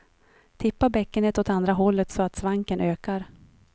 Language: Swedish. Tippa bäckenet åt andra hållet så att svanken ökar.